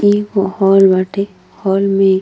इ हॉल बाटे। हॉल में --